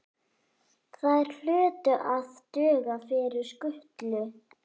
Þær hlutu að duga fyrir skutlu.